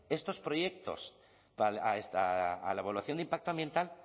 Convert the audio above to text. estos proyectos a la evaluación de impacto ambiental